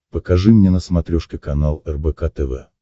покажи мне на смотрешке канал рбк тв